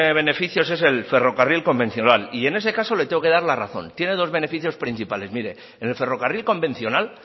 beneficios es el ferrocarril convencional y en ese caso le tengo que dar la razón tiene dos beneficios principales en el ferrocarril convencional